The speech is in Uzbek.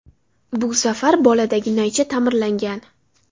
Bu safar boladagi naycha ta’mirlangan.